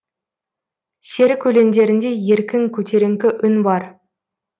серік өлеңдерінде еркін көтеріңкі үн бар